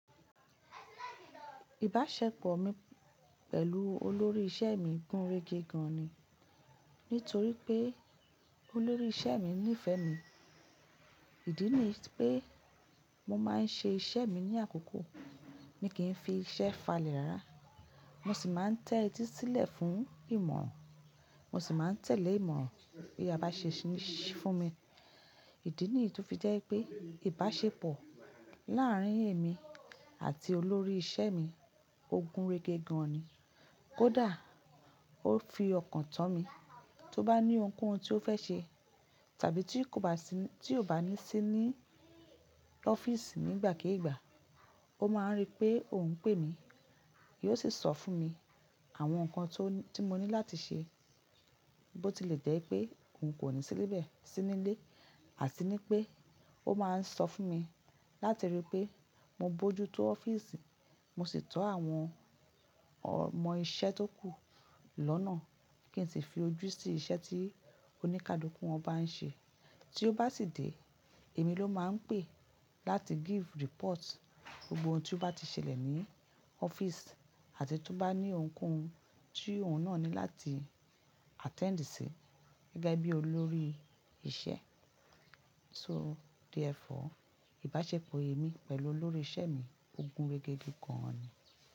Ìbáṣepọ̀ mi pẹ̀lú olórí iṣẹ́ mi gùn rege gan ni. Nítorí pé olórí iṣẹ́ mi nífẹ̀ẹ́ mi. Ìdí ni pé mo máa ń ṣe iṣẹ́ mi ní àkókò, mi kì í fi iṣẹ́ falẹ̀ ra. Mo sì máa ń tẹ́tí sílẹ̀ fún ìmọ̀ràn, mo sì máa ń tẹ̀lé ìmọ̀ràn bí a bá ṣe ṣí fún mi. Ìdí nìyí tó fi jẹ́ pé ìbáṣepọ̀ láàárín èmi àti olórí iṣẹ́ mi ó gùn rege gan ni. Kódà ó fi ọkàn tán mi, tó bá ní ohunkóhun tí ó fẹ́ ṣe tàbí tí kò bá sí ní, tí kò bá ní sí ní ọ́fíìsì nígbàkígbà, ó máa ń rí pé òun ń pè mí. Yóò sì sọ fún mi àwọn nǹkan tí mo ní láti ṣe. Bo tilè jẹ́ pé òun kò ní sí níbẹ̀, sí nílé, àti ní pé ó máa ń sọ fún mi láti rí pé mo bójú tó ọ́fíìsì, mo sì tọ́ àwọn ọmọ iṣẹ́ tó kù lọ́nà kí n sì fi ojú sí iṣẹ́ tí oníkádùúkú wọn bá ń ṣe. Tí ó bá sì dé, èmi ló máa ń pè láti give report gbogbo ohun tí ó bá ti ṣẹlẹ̀ ní ọ́fíìsì àti tí ó bá ní ohunkóhun tí òun náà ní láti attend sí gẹ́gẹ́ bí olórí iṣẹ́ So therefore. Ìbáṣepọ̀ èmi pẹ̀lú olórí iṣẹ́ mi ó gùn rege gan ni.